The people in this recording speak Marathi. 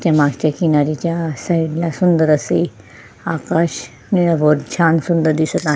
मागच्या किनाऱ्याच्या साइड ला सुंदर असे आकाश वर छान सुंदर दिसत आहे.